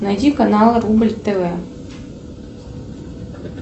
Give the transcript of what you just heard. найди канал рубль тв